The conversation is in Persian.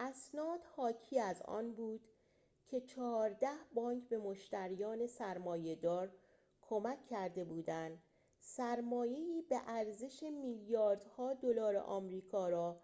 اسناد حاکی از آن بود که چهارده بانک به مشتریان سرمایه‌دار کمک کرده بودند سرمایه‌ای به ارزش میلیاردها دلار آمریکا را